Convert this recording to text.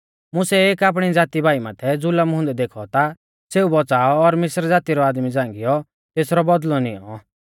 मुसै एक आपणी ज़ाती भाई माथै ज़ुलम हुंदै देखौ ता सेऊ बौच़ाऔ और मिस्र ज़ाती रौ आदमी झ़ांगीयौ तेसरौ बौदल़ौ निऔं